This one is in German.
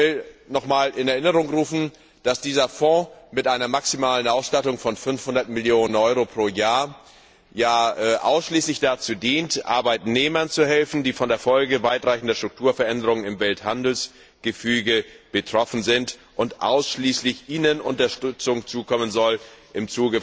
Ich will nochmals in Erinnerung rufen, dass dieser Fonds mit einer maximalen Ausstattung von 500 Millionen Euro pro Jahr ausschließlich dazu dient, Arbeitnehmern zu helfen, die von den Folgen weitreichender Strukturveränderungen im Welthandelsgefüge betroffen sind, und ausschließlich ihnen durch